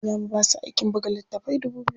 Za mu basu aikin buga littatafai dubu biyu.